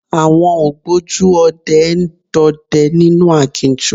Àwọn ògbójú ọdẹ ń dọdẹ nínú aginjù.